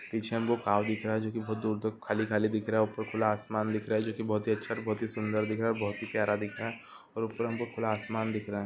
पीछे हमको दिख रहा है जो की बहोत दूर दूर खाली खाली दिख रहा है ऊपर खुल्ला आसमान दिख रहा है जो की बहोत ही अच्छा और सुंदर दिख रहा है और बहोत ही प्यार दिख रहा है और ऊपर हमको खुल्ला आसमान दिख रहा है ।